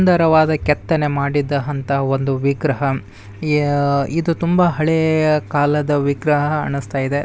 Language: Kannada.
ಸುಂದರವಾದ ಕೆತ್ತನೆಯ ಮಾಡಿದ ಅಂತಹ ಒಂದು ವಿಗ್ರಹ ಯಾ ಇದು ತುಂಬಾ ಹಳೇಯ ಕಾಲದ ವಿಗ್ರಹ ಅಣ್ಸ್ತಾ ಇದೆ.